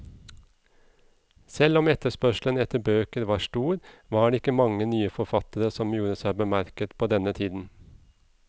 Selv om etterspørselen etter bøker var stor, var det ikke mange nye forfattere som gjorde seg bemerket på denne tiden.